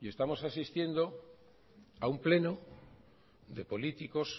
y estamos asistiendo a un pleno de políticos